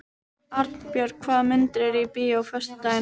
Arnborg, hvaða myndir eru í bíó á föstudaginn?